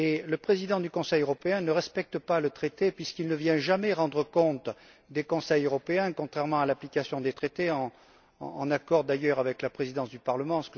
Le président du Conseil européen ne respecte pas le traité puisqu'il ne vient jamais rendre compte des conseils européens, en contradiction avec l'application des traités, en accord d'ailleurs avec la présidence du Parlement.